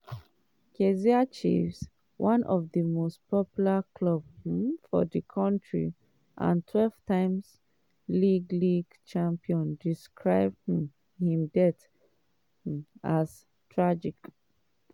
kaizer chiefs one of di most popular clubs um for di kontri and 12-time league league champions describe um im death um as "tragic".